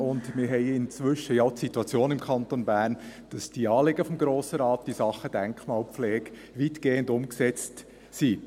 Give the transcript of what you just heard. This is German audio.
Wir haben im Kanton Bern ja inzwischen auch die Situation, dass diese Anliegen des Grossen Rates in Sachen Denkmal pflege weitgehend umgesetzt sind.